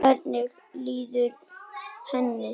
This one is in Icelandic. Hvernig líður henni?